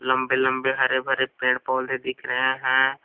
लंबे लंबे हरे भरे पेड़ पौधे दिख रहे हैं।